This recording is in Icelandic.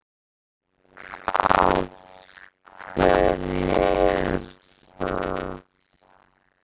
Svavar: Af hverju er það?